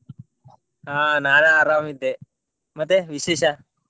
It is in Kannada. ಆ ನಾನು ಆರಾಮ್ ಇದ್ದೆ. ಮತ್ತೆ ವಿಶೇಷ?